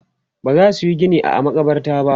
bazasu Yi Gini a a makabarta ba